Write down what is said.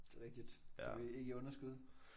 Det er rigtigt. Du er ikke i underskud